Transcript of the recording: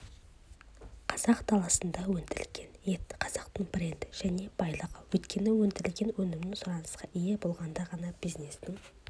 қазақ даласында өндірілген ет қазақтың бренді және байлығы өйткені өндірген өнімің сұранысқа ие болғанда ғана бизнестің